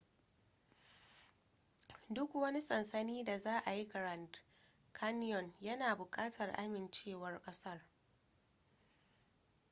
duk wani sansani da za a yi grand canyon yana bukatar amincewar kasar